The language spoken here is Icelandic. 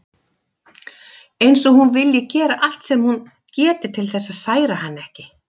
Eins og hún vilji gera allt sem hún geti til þess að særa hann ekki.